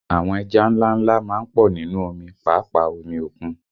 Àwọn ẹja ńlá ńlá má ń pọ̀ nínú omi, pàápàá omi òkun